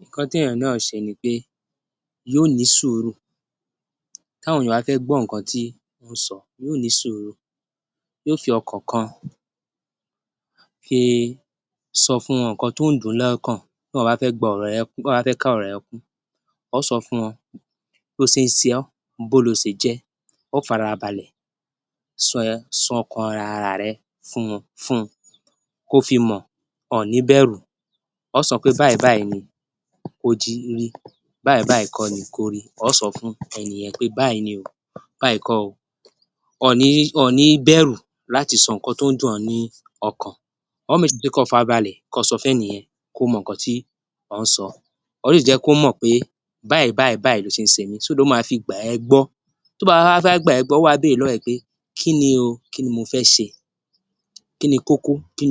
Nǹkan tí èèyàn yóò ṣe ni pé yóò ní sùúrù táwọn èèyàn bá fẹ́ gbọ́ nǹkan tó ń sọ, yóò ní sùúrù, yóò fi ọkàn kan fi í sọ fún wọn nǹkan tó ń dùn - ún lọ́kàn tí èèyàn bá fẹ́ ka ọ̀rọ̀ yẹn kún. Óò sọ fún wọn bòó ló ṣe ń ṣe ó, bòó ló ṣe jẹ́, óò fara balẹ̀ sọ ọkàn ara rẹ fún un, kó fi mọ̀, ọ ọ̀ ní bẹ̀rù, ọ ó sọ pé báyìí báyìí ni o ti rí, báyìí báyìí báyìí kọ́ ni kó rí, óò sọ fún ẹni yẹn pé báyìí ni o, báyìí kò ó. O ò ní bẹ̀rù láti sọ nǹkan tí ó ní dùn ó ní ọkàn, óò fara balẹ̀ sọ fún ẹni yẹn, kó mọ nǹkan tí ó ń sọ. Ò ó sì jẹ́ kọ̀ mọ̀ pé báyìí báyìí báyìí ló ṣe mí, lọ máa fi gbà ẹ́ gbọ́. Tí ó bá wá fẹ́ wá gbà ẹ gbó óò wá bẹ̀rẹ̀ lọ́wọ́ rẹ̀ ẹ pé kí ni ó, kí ni mo fẹ́ ṣe? Kí ni kókó? Kí